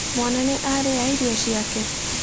Mwana nĩ arĩa irio ciake?